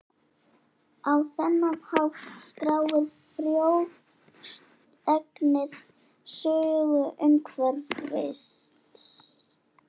Á þennan hátt skráir frjóregnið sögu umhverfisins.